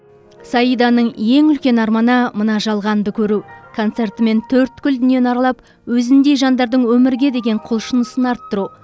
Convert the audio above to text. саиданың ең үлкен арманы мына жалғанды көру концертімен төрткүл дүниені аралап өзіндей жандардың өмірге деген құлшынысын арттыру